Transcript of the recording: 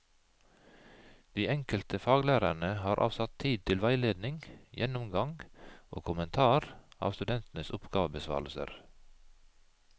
De enkelte faglærerne har avsatt tid til veiledning, gjennomgang og kommentar av studentenes oppgavebesvarelser.